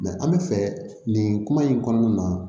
an bɛ fɛ nin kuma in kɔnɔna na